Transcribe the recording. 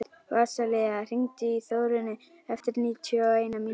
Vasilia, hringdu í Þórönnu eftir níutíu og eina mínútur.